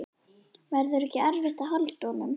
Verður ekki erfitt að halda honum?